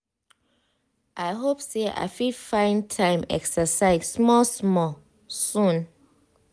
i hope say i fit find time exercise small small soon.